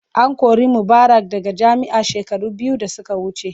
An kori Mubarak daga jami'a shekaru biyu da suka wuce.